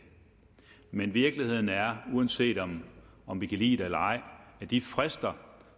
men virkeligheden er uanset om om vi kan lide det eller ej at de frister